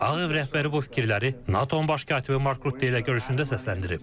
Ağ Ev rəhbəri bu fikirləri NATO-nun baş katibi Markrut Delle görüşündə səsləndirib.